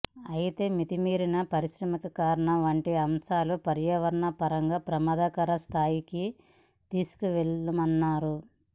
అయితే మితిమీరిన పారిశ్రామికీ కరణ వంటి అంశాలు పర్యావరణ పరంగా ప్రమాదకర స్థాయికి తీసుకువెళ్లాయన్నారు